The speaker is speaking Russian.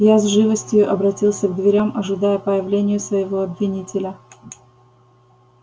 я с живостию обратился к дверям ожидая появления своего обвинителя